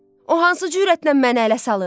O hansı cürətlə məni ələ salır?